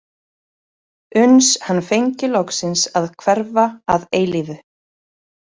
Uns hann fengi loksins að hverfa að eilífu.